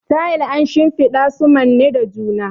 Tayel an shimfiɗa su manne da juna.